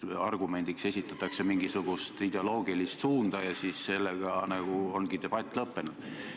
Argumendiks esitatakse mingisugune ideoloogiline suund ja sellega ongi debatt lõppenud.